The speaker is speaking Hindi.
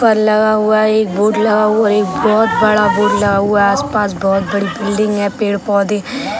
पर लगा हुआ है एक बोर्ड लगा हुआ है एक बहुत बड़ा बोर्ड लगा हुआ है आस-पास बहुत बड़ी बिल्डिंग है पेड़-पौधे --